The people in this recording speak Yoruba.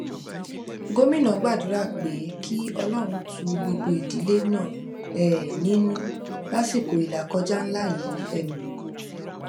gomina gbàdúrà pé kí ọlọrun tu gbogbo ìdílé náà um nínú lásìkò ìlàkọjá ńlá yìí um